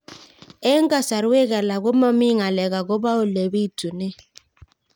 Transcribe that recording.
Eng' kasarwek alak ko mami ng'alek akopo ole pitunee